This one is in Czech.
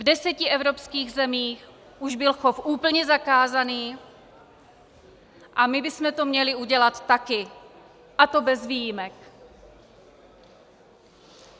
V deseti evropských zemích už byl chov úplně zakázaný a my bychom to měli udělat taky, a to bez výjimek.